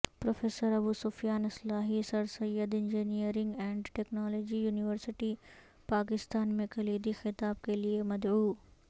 professor Abu Sufyan اصلاحی Sir Syed engineering and technology university Pakistan میں کلیدی خطاب کے لئے مدعو